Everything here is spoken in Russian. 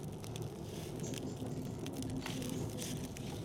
хочу посмотреть фильм в духе научного видео